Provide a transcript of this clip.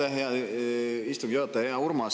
Aitäh, hea istungi juhataja!